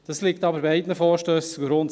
Das liegt aber beiden Vorstössen zugrunde.